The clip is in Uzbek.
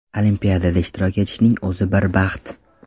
Olimpiadada ishtirok etishning o‘zi bir baxt.